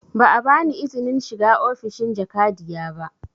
Ba a ba ni izinin shiga ofishin jakadiya ba